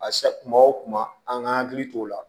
A se kuma o kuma an k'an hakili t'o la